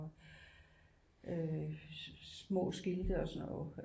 Øh små skilte og sådan noget øh